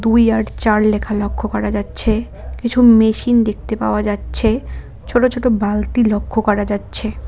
দুই আর চার লেখা লক্ষ্য করা যাচ্ছে কিছু মেশিন দেখতে পাওয়া যাচ্ছে ছোট ছোট বালতি লক্ষ্য করা যাচ্ছে।